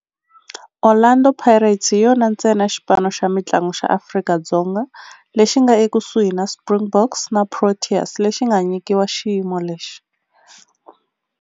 Orlando Pirates hi yona ntsena xipano xa mintlangu xa Afrika-Dzonga lexi nga ekusuhi na Springboks na Proteas lexi nga nyikiwa xiyimo lexi.